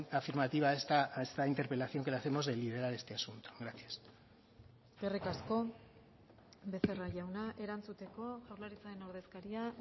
afirmativa a esta interpelación que le hacemos de liderar este asunto gracias eskerrik asko becerra jauna erantzuteko jaurlaritzaren ordezkaria